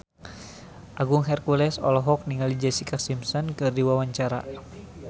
Agung Hercules olohok ningali Jessica Simpson keur diwawancara